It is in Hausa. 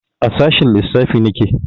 A sashen lissafi nake